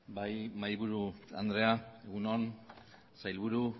bai mahaiburu andrea egun on sailburu